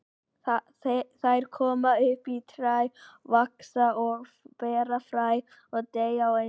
Þær koma upp af fræi, vaxa og bera fræ og deyja á einu ári.